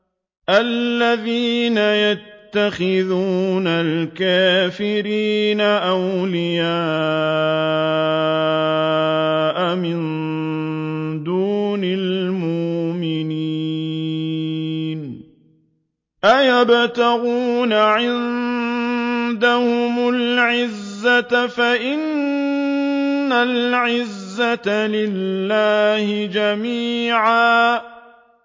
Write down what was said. الَّذِينَ يَتَّخِذُونَ الْكَافِرِينَ أَوْلِيَاءَ مِن دُونِ الْمُؤْمِنِينَ ۚ أَيَبْتَغُونَ عِندَهُمُ الْعِزَّةَ فَإِنَّ الْعِزَّةَ لِلَّهِ جَمِيعًا